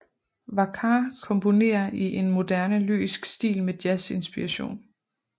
Vackár komponere i en moderne lyrisk stil med jazz inspiration